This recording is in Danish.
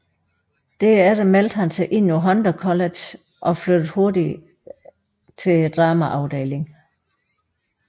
Derefter meldte han sig ind på Hunter College og flyttede hurtigt til dramaafdelingen